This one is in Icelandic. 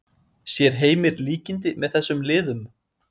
Sér Heimir líkindi með þessum liðum?